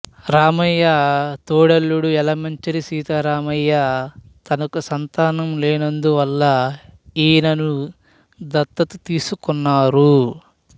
రామయ్య తోడల్లుడు యలమంచిలి సీతారామయ్య తనకు సంతానం లేనందువల్ల ఈయనను దత్తత తీసుకున్నారు